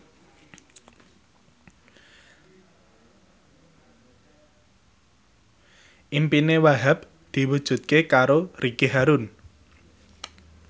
impine Wahhab diwujudke karo Ricky Harun